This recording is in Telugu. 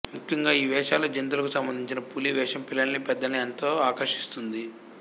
ముఖ్యంగా ఈ వేషాల్లో జంతువులకు సంబందించిన పులి వేషం పిల్లల్నీ పెద్దల్నీ ఎంతో ఆకర్షింస్తుంది